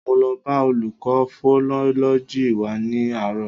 Mo lọ bá olùkọ́ fonọ́lọ́jì wa ní àárò